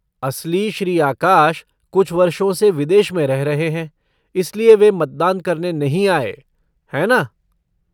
असली श्री आकाश कुछ वर्षों से विदेश में रह रहे हैं, इसलिए वे मतदान करने नहीं आए, है ना?